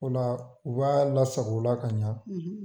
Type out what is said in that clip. O la u b'a lasag' o la ka ɲa